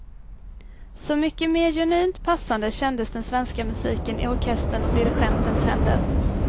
Så mycket mer genuint passande kändes den svenska musiken i orkesterns och dirigentens händer.